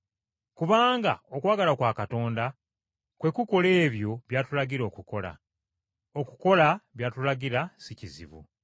Kubanga okwagala kwa Katonda kwe kukola ebyo by’atulagira okukola. Okukola by’atulagira si kizibu,